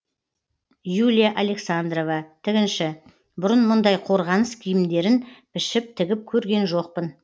юлия александрова тігінші бұрын мұндай қорғаныс киімдерін пішіп тігіп көрген жоқпын